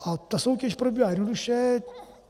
A ta soutěž probíhá jednoduše.